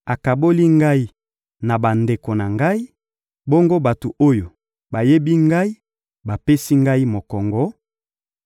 Akaboli ngai na bandeko na ngai, bongo bato oyo bayebi ngai bapesi ngai mokongo,